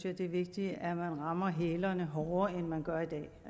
at det er vigtigt at man rammer hælerne hårdere end man gør i dag